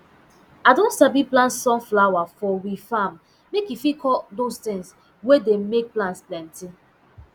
i don sabi plant sunflower for um farm make e fit call dose tin wey dem make plants plenty